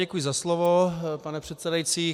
Děkuji za slovo, pane předsedající.